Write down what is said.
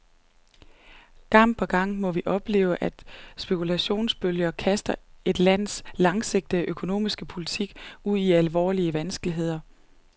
Gang på gang må vi opleve, at spekulationsbølger kaster et lands langsigtede økonomiske politik ud i alvorlige vanskeligheder.